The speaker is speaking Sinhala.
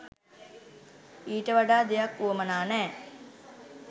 ඊට වඩා දෙයක් වුවමනා නෑ